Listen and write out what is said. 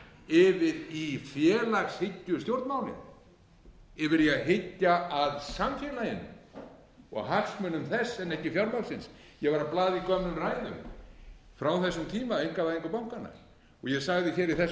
yfir í félagshyggjustjórnmálin yfir í að hyggja að samfélaginu og hagsmunum þess en ekki fjármagnsins ég var að blaða í gömlum ræðum frá þessum tíma einkavæðingu bankanna og ég sagði þá í þessum